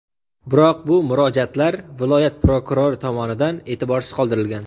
Biroq bu murojaatlar viloyat prokurori tomonidan e’tiborsiz qoldirilgan.